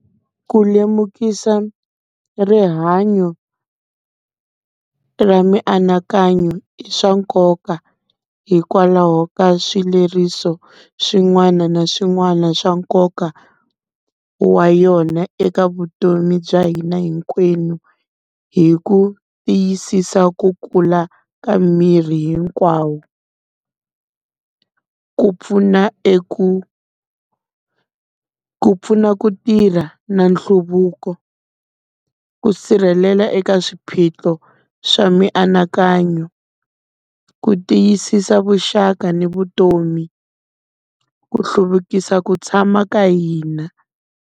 Ku lemukisa rihanyo ra mianakanyo i swa nkoka, hikwalaho ka swileriso swin'wana na swin'wana swa nkoka wa yona eka vutomi bya hina hinkwenu, hi ku tiyisisa ku kula ka miri hinkwawo. Ku pfuna eku ku pfuna ku tirha na nhluvuko. Ku sirhelela eka swiphiqo swa mianakanyo, ku tiyisisa vuxaka ni vutomi ku hluvukisa ku tshama ka hina.